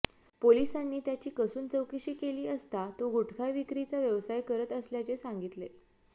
पोलिसांनी त्याची कसून चौकशी केली असता तो गुटखा विक्रीचा व्यवसाय करत असल्याचे सांगितले